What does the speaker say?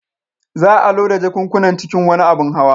Za a loda jakunkunan cikin wani abin hawa.